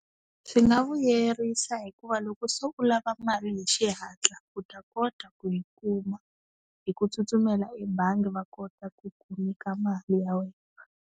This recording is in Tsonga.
Swi nga vuyerisa hikuva loko se u lava mali hi xihatla u ta kota ku yi kuma hi ku tsutsumela ebangi va kota ku ku nyika mali ya wena.